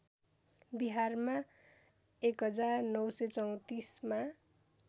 बिहारमा १९३४ मा